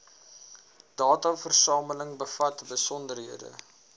dataversameling bevat besonderhede